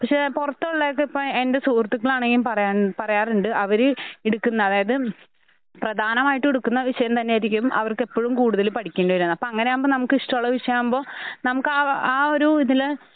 പക്ഷെ പുറത്തുള്ളേക്കിപ്പം എൻ്റെ സുഹൃത്തുക്കളാണെങ്കിലും പറയാൻ പറയാറുണ്ട്. അവര് എട്ക്കുന്ന അതായത് പ്രാധാനമായിട്ടെടുക്കുന്ന വിഷയംതന്നെയാരിക്കും അവർക്കെപ്പഴും കൂടുതൽ പഠിക്കേണ്ടി വരുകാന്ന്. അപ്പ അങ്ങനെയാകുമ്പം നമുക്കിഷ്ടഉള്ള വിഷയാകുമ്പൊ നമുക്കാ അ ആഒരൂ ഇതില്